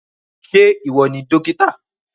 Ṣé ìwọ ni dókítà?